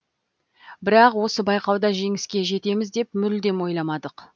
бірақ осы байқауда жеңіске жетеміз деп мүлдем ойламадық